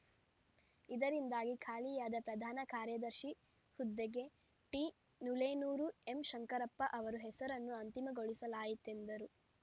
ಇದರಿಂದಾಗಿ ಖಾಲಿಯಾದ ಪ್ರಧಾನ ಕಾರ್ಯದರ್ಶಿ ಹುದ್ದೆಗೆ ಟಿನುಲೇನೂರು ಎಂಶಂಕರಪ್ಪ ಅವರ ಹೆಸರನ್ನು ಅಂತಿಮಗೊಳಿಸಲಾಯಿತೆಂದರು